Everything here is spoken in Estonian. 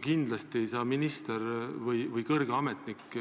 Kindlasti ei saa minister või kõrge ametnik